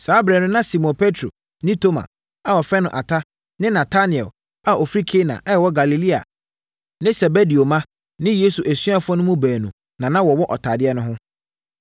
Saa ɛberɛ no, na Simon Petro, ne Toma (a wɔfrɛ no Ata), ne Natanael a ɔfiri Kana a ɛwɔ Galilea ne Sebedeo mma ne Yesu asuafoɔ no mu baanu na na wɔwɔ ɔtadeɛ no ho.